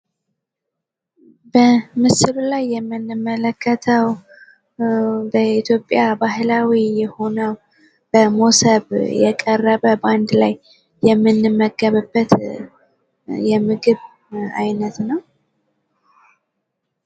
በምስሉ ላይ የምንመለከተው በኢትዮጵያ ባህላዊ የሆነው በሞሰብ የቀረበ ባንድ ላይ የምንመገብበት የምግብ አይነት ነው።